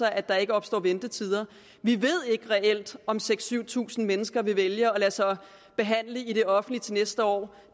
at der ikke opstår ventetider vi ved ikke reelt om seks tusind syv tusind mennesker vil vælge at lade sig behandle i det offentlige til næste år